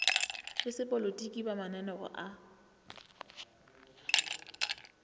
le sepolotiki ba mamaneo a